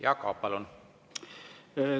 Jaak Aab, palun!